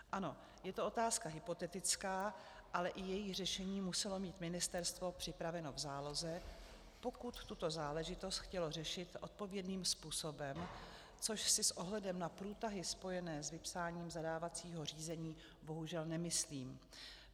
Ano, je to otázka hypotetická, ale i její řešení muselo mít ministerstvo připraveno v záloze, pokud tuto záležitost chtělo řešit odpovědným způsobem, což si s ohledem na průtahy spojené s vypsáním zadávacího řízení bohužel nemyslím.